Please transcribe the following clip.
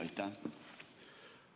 Aitäh!